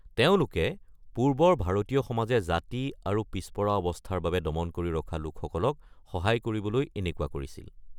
তেওঁলোকে পূৰ্বৰ ভাৰতীয় সমাজে জাতি আৰু পিছপৰা অৱস্থাৰ বাবে দমন কৰি ৰখা লোকসকলক সহায় কৰিবলৈ এনেকুৱা কৰিছিল।